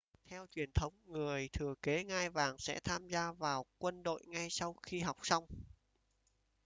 theo truyền thống người thừa kế ngai vàng sẽ tham gia vào quân đội ngay sau khi học xong